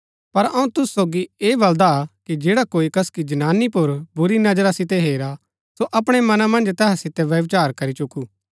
पर अऊँ तुसु सोगी ऐह बलदा कि जैडा कोई कसकी जनानी पुर बुरी नजरा सितै हेरा सो अपणै मना मन्ज तैहा सितै व्यभिचार करी चुकु